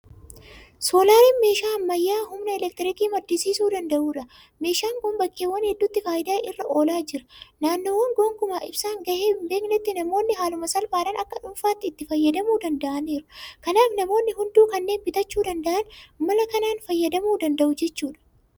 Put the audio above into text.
Soolaariin meeshaa ammayyaa'aa humna elektiriikii maddisiisuu danda'udha. Meeshaan kun bakkeewwan hedduutti faayidaa irra oolaa jira. Naannoowwan gonkumaa ibsaan gahee hinbeeknetti namoonni haaluma salphaadhaan akka dhuunfaatti itti fayyadamuu danda'aniiru. Kanaaf namoonni hunduu kanneen bitachuu danda'an mala kanaan fayyadamuu danda'u jechuudha.